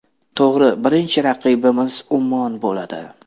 To‘g‘ri, birinchi raqibimiz Ummon bo‘ladi.